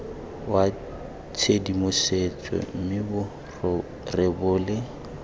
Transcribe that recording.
wa tshedimosetso mme bo rebole